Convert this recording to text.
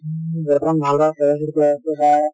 বৰ্তমান ভাল ভাল বা